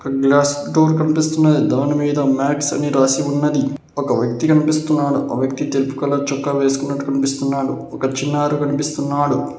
Glass door కన్పిస్తున్నాయి దానిమీద max అని రాసి ఉన్నది ఒక వ్యక్తి కన్పిస్తున్నాడు ఆ వ్యక్తి తెలుపు కలర్ చొక్కా వేసుకున్నట్టు కన్పిస్తున్నాడు ఒక చిన్నారు కన్పిస్తున్నాడు.